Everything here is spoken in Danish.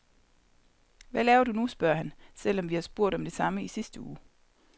Hvad laver du nu, spørger han, selvom vi har spurgt om det samme i sidste uge.